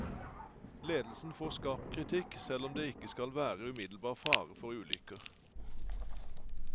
Ledelsen får skarp kritikk, selv om det ikke skal være umiddelbar fare for ulykker.